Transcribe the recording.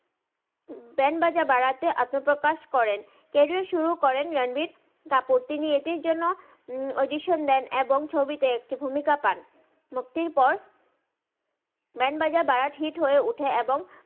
বান বাজা বারাতে আত্মা প্রাকাশ করেন তিনি এতির জুন ক্যারিয়ার সুরু করেন রানবির কাপুর তিনি এটির জন্য আউদিসিওন দেই এবং ছবিতে একটি ভুমিতা মুক্তির পর বান্দ বাজা বারাত হিট হয়ে উথেন